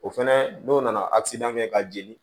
O fɛnɛ n'o nana kɛ ka jeli